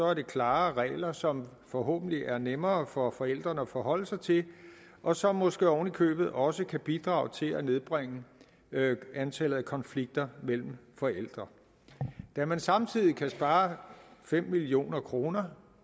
er det klare regler som forhåbentlig er nemmere for forældrene at forholde sig til og som måske oven i købet også kan bidrage til at nedbringe antallet af konflikter mellem forældre da man samtidig kan spare fem million kroner